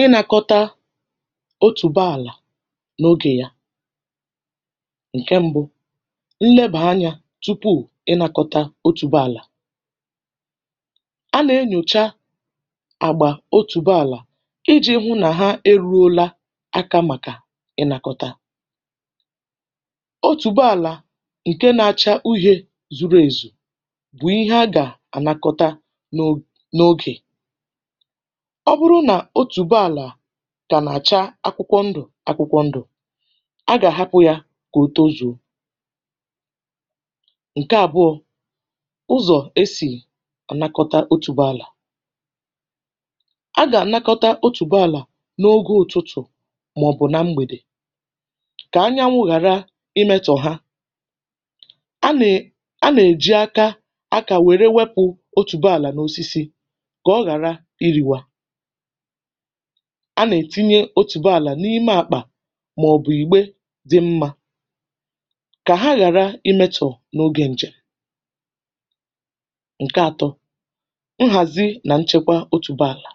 Ị nà-kọ̀tà otùbo àlà n’ogè yà. Ǹkè m̀bụ̀ bụ̀ nlebà anyȧ tupu i nà-kọ̀tà otùbo àlà. A nà-enyòcha àgbà otùbo àlà iji̇ hụ nà hà eru̇la àkà, um màkà ịnà-kọ̀tà otùbo àlà. Ǹkè nȧ-acha uhẹ̀ zùrù èzù, bụ̀ ihe a gà-ànakọ̀tà n’ogè.Ọ bụrụ nà otùbo àlà gà nà-àcha akwụkwọ ndụ̀ akwụkwọ ndụ̀, a gà-àhapụ̇ yȧ, gà-ètozu̇. Ǹkè àbụọ̇ bụ̀ ụzọ̀ esì ọ̀nakọ̀tà otùbo àlà. A gà-ànakọ̀tà otùbo àlà n’ogè ụ̀tụtụ̀, màọ̀bụ̀ nà mgbèdè, um kà ànyànwụ̇ ghàrà imetọ̀ hà.A nà-è… um a nà-èjị akà akȧ, wère wepụ̇ otùbo àlà n’osisi. A nà-ètinye otùbo àlà n’ime àkpà, màọ̀bụ̀ ìgbe dị mmȧ, kà hà ghàrà imetọ̀ n’ogè ǹjè. Ǹkẹ atọ̀ bụ̀ nhàzì nà nchẹkwa otùbo àlà.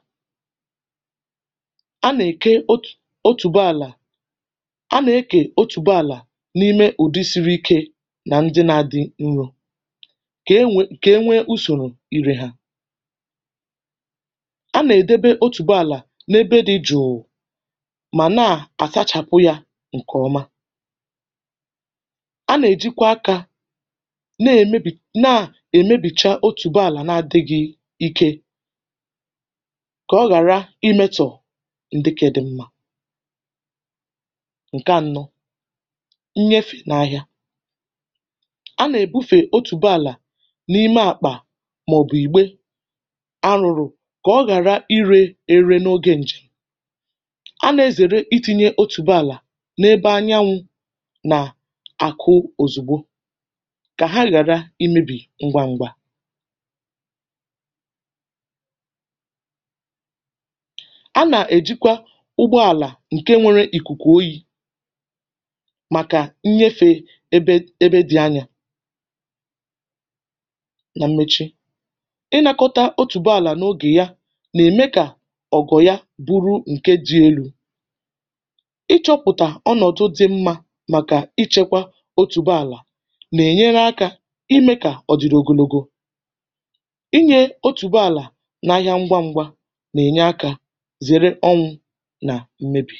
A nà-èke otùbo àlà, a nà-èkè otùbo àlà n’ime ụ̀dị̀ siri ike, um nà ndị na dị nro, kà e nwe kà e nwee usòrò irè hà. N’ebe dị jụụ̀ mà na-àsachàpụ̀ yȧ ǹkè ọma, a nà-èjikwa akà, um na-èmebì, na-èmebìcha otùbo àlà nà-adị̇ghị̇ ike, kà ọ ghàrà imetọ̀ ǹdịkị̇dị̇ mmȧ. Ǹkè anọ̀ bụ̀ nnyefè n’ahịa. A nà-èbufè otùbo àlà n’ime àkpà, mà ọ̀ bụ̀ ìgbe. um A nà-ezère itinye otùbo àlà n’ebe ànyànwụ̇ nà àkụ̀ òzùgbo, kà hà ghàrà imèbì ngwa ngwa. Bùrù ǹkè ji elu̇, ịchọ̇pụ̀tà ọnọ̀dụ̀ dị̇ mmȧ, màkà ichèkwà otùbo àlà, nà-ènyere akà, um imè kà ọ̀ dị̀ rogologo, inyè otùbo àlà n’ahịa. Ṅgwa ṅ̇gwȧ nà-ènye akà, zèré ọnwụ̇ nà m̀mebì.